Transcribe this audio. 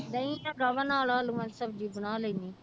ਦਹੀਂ ਹੈਗਾ ਵਾ ਨਾਲ ਆਲੂਆਂ ਦੀ ਸਬਜ਼ੀ ਬਣਾ ਲੈਂਦੀ ਹਾਂ।